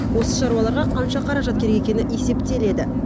осы шаруаларға қанша қаражат керек екені есептеледі